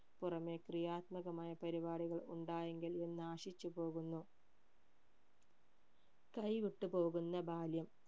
പുറമെ ക്രിയാത്മകമായ പരിപാടികൾ ഉണ്ടായെങ്കിൽ എന്നാശിച്ചു പോകുന്നു കൈവിട്ടു പോകുന്ന ബാല്യം